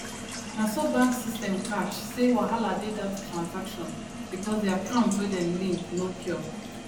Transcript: na so bank system catch say wahala dey that transaction because the account wey dem link no pure